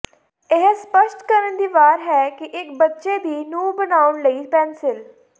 ਇਹ ਸਪਸ਼ਟ ਕਰਨ ਦੀ ਵਾਰ ਹੈ ਕਿ ਇਕ ਬੱਚੇ ਦੀ ਨੂੰ ਬਣਾਉਣ ਲਈ ਪੈਨਸਿਲ